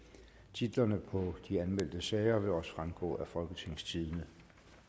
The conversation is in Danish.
titlerne på de anmeldte sager vil også fremgå af folketingstidende